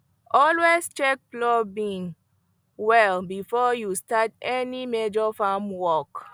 always check plow beam well before you start any major farm work